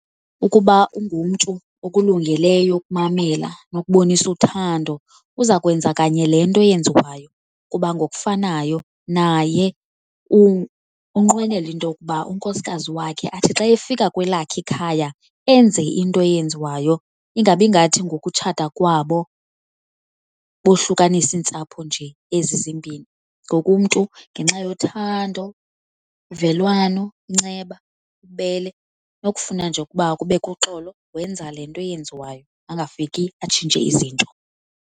Ukuba ungumntu okulungeleyo ukumamela nokubonisa uthando uza kwenza kanye le nto yenziwayo kuba ngokufanayo naye unqwenela into yokuba unkosikazi wakhe athi xa efika kwelakhe ikhaya enze into eyenziwayo, ingabi ngathi ngokutshata kwabo bohlukanisa iintsapho nje ezi zimbini. Ngokumntu ngenxa yothando, uvelwano, inceba, ububele nokufuna nje ukuba kubekho uxolo wenza le nto yenziwayo angafiki atshintshe izinto.